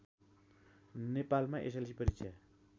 नेपालमा एसएलसी परीक्षा